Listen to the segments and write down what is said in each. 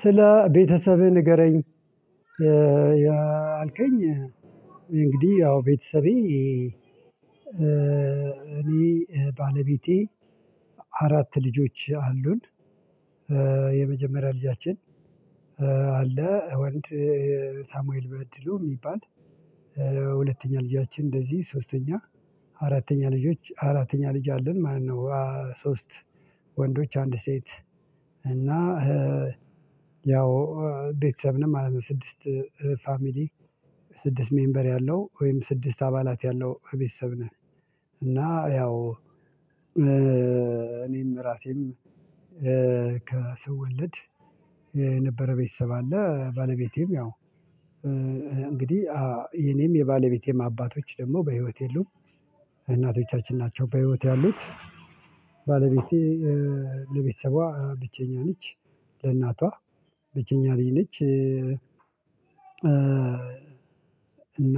ስለ ቤተሰብህ ንገረኝ? ያአልከኝ እንግዲህ ያው ቤተሰቤ እኔ ባለቤቴ አራት ልጆች አሉን። የመጀመሪያ ልጃችን አለ ወንድ ሳሙኤል በድሉ የሚባል። ሁለተኛ ልጃችን እንደዚህ ሶስተኛ አራተኛ ልጆች አራተኛ ልጅ አለን ማለት ነው ሶስት ወንዶች አንድ ሴት እና ያው ቤተሰብ ነው ማለት ነው። ስድስት ፋሚሊ ስድስት ሜምበር ያለው ወይም ስድስት አባላት ያለው ቤተሰብ ነን። እና ያው እኔም ራሴም ከሰው ወለድ ነበረ። ቤተሰብ አለ ባለቤቴም ያው እንግዲህ የኔም የባለቤቴም አባቶች ደግሞ በህይወት የሉም። እናቶቻችን ናቸው በህይወት ያሉት። ባለቤቴ ለቤተሰቧ ብቸኛ ልጅ ለእናቷ ብቸኛ ልጅ ነች። እና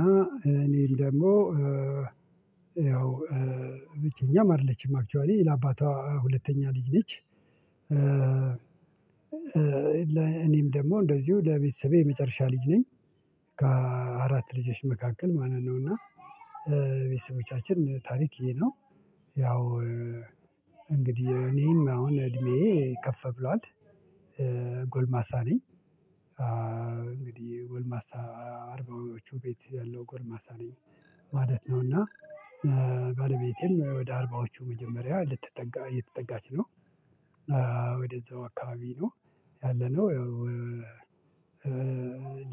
እኔም ደግሞ ያው ብቸኛም አይደለችም አክችዋሊ ለአባቷ ሁለተኛ ልጅ ነች። እኔም ደግሞ እንደዚሁ ለቤተሰቤ የመጨረሻ ልጅ ነኝ። ከአራት ልጆች መካከል ማንን ነው እና ቤተሰቦቻችን ታሪክ ይሄ ነው። ያው እንግዲህ እኔም አሁን እድሜዬ ከፍ ብሏል ጎልማሳ ነኝ። እንግዲህ ጎልማሳ አርባዎቹ ቤት ያለው ጎልማሳ ነኝ። ነው እና ባለቤቴም ወደ አርባዎቹ መጀመሪያ ልትጠጋ እየተጠጋች ነው ወደዛው አካባቢ ነው። ያለነው ያው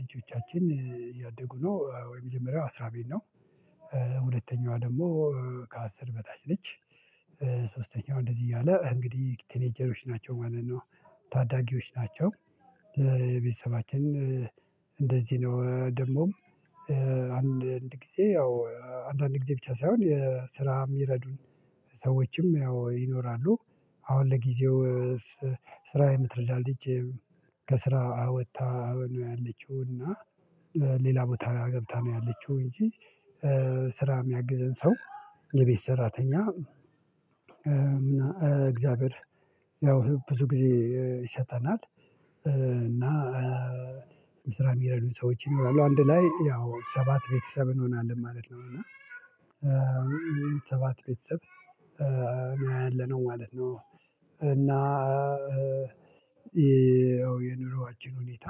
ልጆቻችን እያደጉ ነው ወይ መጀመሪያው አስራ ቤት ነው። ሁለተኛዋ ደግሞ ከአስር በታች ነች። ሶስተኛው እንደዚህ እያለ እንግዲህ ቲኔጀሮች ናቸው ማለት ነው ታዳጊዎች ናቸው። ቤተሰባችን እንደዚህ ነው ደግሞም አንድ አንድ ጊዜ ያው አንዳንድ ጊዜ ብቻ ሳይሆን የስራ የሚረዱን ሰዎችም ያው ይኖራሉ። አሁን ለጊዜው ስራ የምትረዳን ልጅ ከስራ ወጥታ ነው ያለችው እና ሌላ ቦታ ላይ ገብታ ነው ያለችው እንጂ ስራ የሚያግዘን ሰው የቤት ሰራተኛ እግዚአብሔር ያው ብዙ ጊዜ ይሰጠናል። እና ስራ የሚረዱን ሰዎች ይኖራሉ አንድ ላይ ያው ሰባት ቤተሰብ እንሆናለን ማለት ነው እና ሰባት ቤተሰብ ነው ያለነው ማለት ነው። እና የኑሮአችን ሁኔታ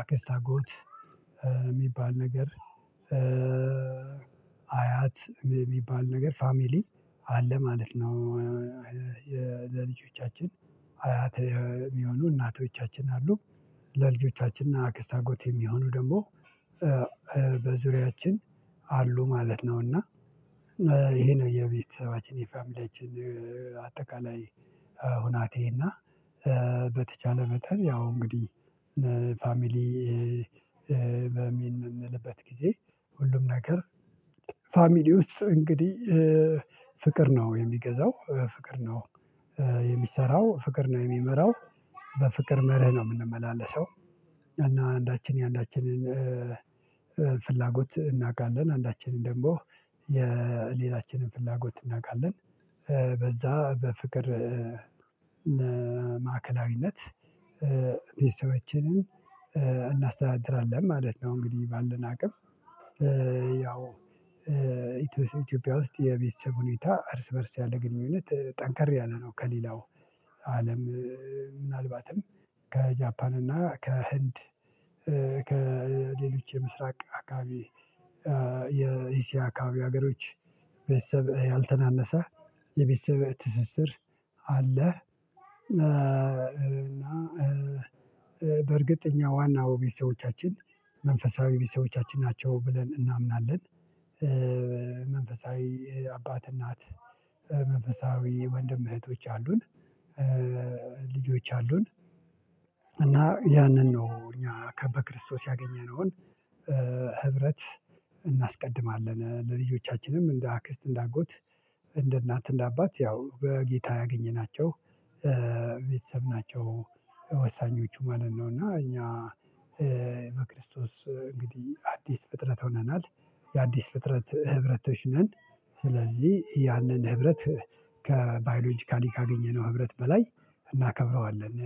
አክስት አጎት የሚባል ነገር አያት የሚባል ነገር ፋሚሊ አለ ማለት ነው። ለልጆቻችን አያተ የሚሆኑ እናቶቻችን አሉ ለልጆቻችን እና አክስት አጎት የሚሆኑ ደግሞ በዙሪያችን አሉ ማለት ነው። እና ይሄ ነው የቤተሰባችን የፋሚሊያችን አጠቃላይ ሁኔታ እና በተቻለ መጠን ያው እንግዲህ ፋሚሊ በሚል የምንልበት ጊዜ ሁሉም ነገር ፋሚሊ ውስጥ እንግዲህ ነው የሚገዛው ፍቅር ነው። የሚሰራው ፍቅር ነው የሚመራው በፍቅር መርህ ነው የምንመላለሰው እና አንዳችን የአንዳችንን ፍላጎት እናውቃለን አንዳችንን ደንቦ የሌላችንን ፍላጎት እናውቃለን በዛ በፍቅር ማዕከላዊነት ቤተሰቦቻችንን እናስተዳድራለን ማለት ነው። እንግዲህ ባለን አቅም ያው ኢትዮጵያ ውስጥ የቤተሰብ ሁኔታ እርስ በእርስ ያለ ግንኙነት ጠንከር ያለ ነው። ከሌላው አለም ምናልባትም ከጃፓን እና ከህንድ ከሌሎች የምስራቅ አካባቢ አካባቢ ሀገሮች ቤተሰብ ያልተናነሰ የቤተሰብ ትስስር አለ። እና በእርግጠኛ ዋናው ቤተሰቦቻችን መንፈሳዊ ቤተሰቦቻችን ናቸው ብለን እናምናለን። መንፈሳዊ አባት እናት መንፈሳዊ ወንድም እህቶች አሉን። ልጆች አሉን። ያንን ነው እኛ ከበክርስቶስ ያገኘነውን ህብረት ለልጆቻችንም እንደ አክስት እንደ አጎት እንደ እናት እንደ አባት ያው በጌታ ያገኘናቸው ቤተሰብ ናቸው። ወሳኞቹ ማለት ነው። እና እኛ በክርስቶስ እንግዲህ አዲስ ፍጥረት ሆነናል የአዲስ ፍጥረት ህብረቶች ነን። ስለዚህ ያንን ህብረት ከባዮሎጂካሊ ካገኘነው ህብረት በላይ እናከብረዋለን